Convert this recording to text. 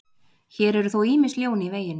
Hér eru þó ýmis ljón í veginum.